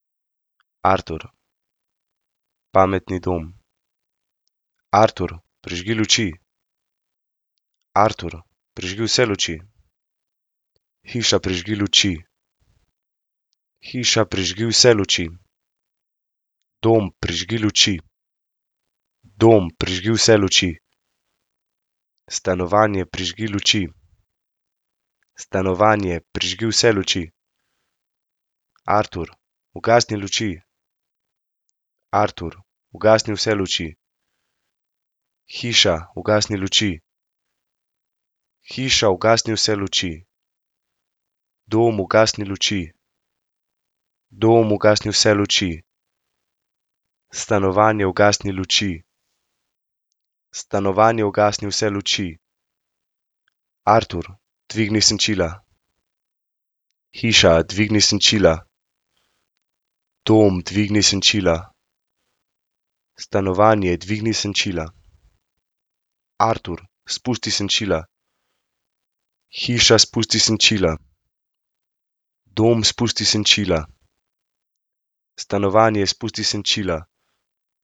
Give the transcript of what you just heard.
Artur. Pametni dom. Artur, prižgi luči. Artur, prižgi vse luči. Hiša, prižgi luči. Hiša, prižgi vse luči. Dom, prižgi luči. Dom, prižgi vse luči. Stanovanje, prižgi luči. Stanovanje, prižgi vse luči. Artur, ugasni luči. Artur, ugasni vse luči. Hiša, ugasni luči. Hiša, ugasni vse luči. Dom, ugasni luči. Dom, ugasni vse luči. Stanovanje, ugasni luči. Stanovanje, ugasni vse luči. Artur, dvigni senčila. Hiša, dvigni senčila. Dom, dvigni senčila. Stanovanje, dvigni senčila. Artur, spusti senčila. Hiša, spusti senčila. Dom, spusti senčila. Stanovanje, spusti senčila.